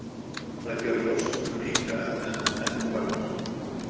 Það gera rostungar líka, en ekki hvalir.